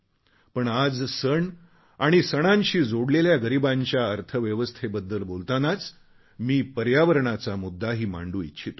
पण आज सण आणि सणांशी जोडलेल्या गरीबांच्या अर्थव्यवस्थेबद्दल बोलतानाच मी पर्यावरणाचा मुद्दाही मांडू इच्छितो